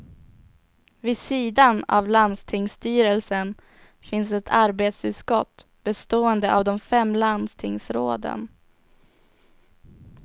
Vid sidan av landstingsstyrelsen finns ett arbetsutskott bestående av de fem landstingsråden.